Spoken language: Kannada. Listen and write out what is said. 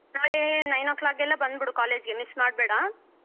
ನಾಳೆ nine O'clock ಎಲ್ಲ ಬಂದಬಿಡು college ಗೆ miss ಮಾಡಬೇಡ.